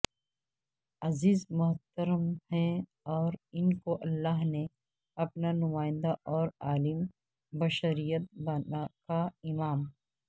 عزیز و محترم ہیں اور ان کو اللہ نے اپنا نمائندہ اورعالم بشریت کا امام